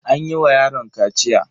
An yi wa yaron kaciya.